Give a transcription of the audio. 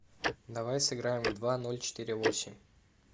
давай сыграем в два ноль четыре восемь